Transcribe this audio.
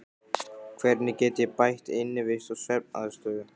Hvernig get ég bætt innivist og svefnaðstöðu?